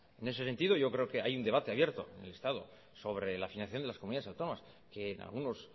en ese sentido yo creo que hay un debate abierto en el estado sobre la financiación de las comunidades autónomas que en algunos